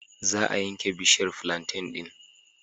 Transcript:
Za a yanke bishiyar flanten ɗin.